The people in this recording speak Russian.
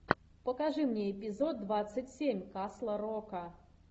покажи мне эпизод двадцать семь касла рока